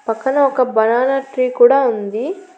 పక్కన ఒక banana tree కూడా ఉంది.